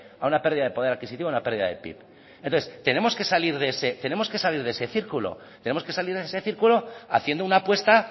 a una pérdida de poder adquisitivo en la pérdida de pib entonces tenemos que salir de ese círculo tenemos que salir de ese círculo haciendo una apuesta